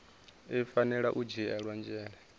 i fanela u dzhiela nzhele